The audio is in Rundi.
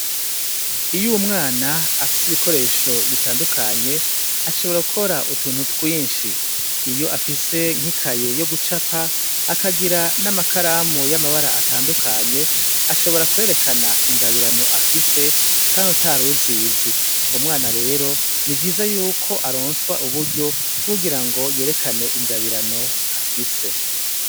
Iyo umwana afise ibikoresho bitandukanye, ashobora gukora utuntu twinshi. Iyo afise nk'ikaye yo gucapa akagira n'amakaramu y'amabara atandukanye ashobora kwerekana ingabirano afise kandi utaruzizi umwana rero ni vyiza yuko aronswa uburyo bwo kugira ngo yerekane ingabirano afise.